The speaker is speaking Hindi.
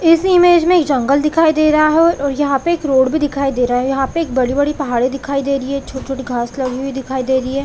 इस इमेज में एक जंगल दिखाई दे रहा हो यहाँ पे एक रोड भी यहाँ पे एक रोड भी दिखाई दे रहा है यहाँ पे एक बड़ी-बड़ी पहाड़े दिखाई दे रही है छोटी-छोटी घाँस लगी हुई दिखाई दे रही है।